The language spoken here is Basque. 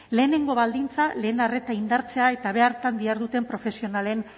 lehenengo baldintza lehen arreta indartzea eta beharretan diharduten profesionalen